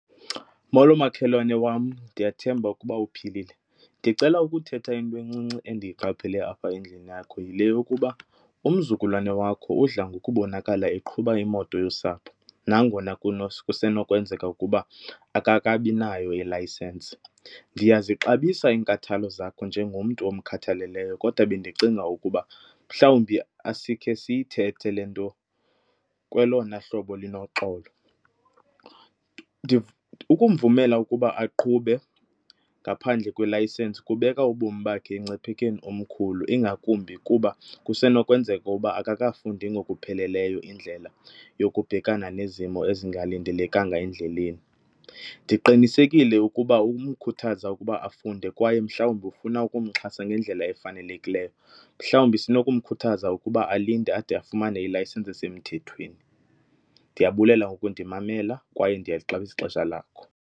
Molo makhelwane wam, ndiyathemba ukuba uphilile. Ndicela ukuthetha into encinci endiyiqapheleyo apha endlini yakho, yile yokuba umzukulwane wakho udla ngokubonakala eqhuba imoto yosapho nangona kusenokwenzeka ukuba akakabinayo ilayisensi. Ndiyazixabisa iinkathalo zakho njengomntu omkhathaleleyo kodwa bendicinga ukuba mhlawumbi asikhe siyithethe le nto kwelona hlobo linoxolo. Ukumvumela ukuba aqhube ngaphandle kwelayisensi kubeka ubomi bakhe emngciphekweni omkhulu, ingakumbi kuba kusenokwenzeka uba akakafundi ngokupheleleyo indlela yokubhekana nezimo ezingalindelekanga endleleni. Ndiqinisekile ukuba umkhuthaza ukuba afunde kwaye mhlawumbi ufuna ukumxhasa ngendlela efanelekileyo, mhlawumbi sinokumkhuthaza ukuba alinde ade afumane ilayisensi esemthethweni. Ndiyabulela ngokundimamela kwaye ndiyalixabisa ixesha lakho.